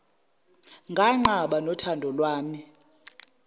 nganqaba nothando lwami